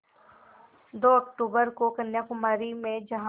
दो अक्तूबर को कन्याकुमारी में जहाँ